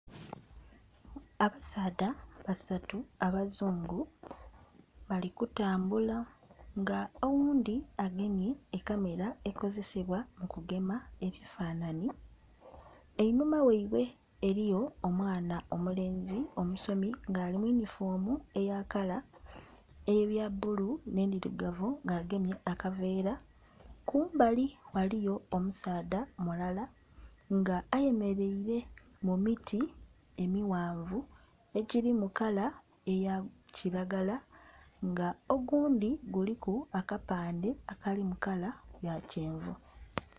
Abasaadha basatu abazungu bali kutambula nga oghundhi agemye ekamera ekozesebwa mukugema ebifanhanhi, einhuma ghaibwe eriyo omwana omulenzi omusomi nga ali muyunifoomu eya kala eya bbulu n'endhirugavu nga agemye akaveera kumbali ghaliyo omusaadha mulala nga ayemereire mumiti emighanvu ejiri mukala eya kiragala nga ogundhi guliku akapande akali mukala ya kyenvu.